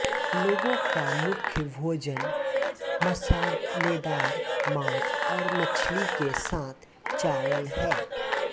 लोगों का मुख्य भोजन मसालेदार मांस और मछली के साथ चावल है